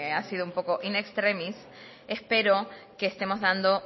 parece que ha sido un poco in extremis espero que estemos dando